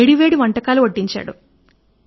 వేడి వేడి వంటకాలు వడ్డించాడు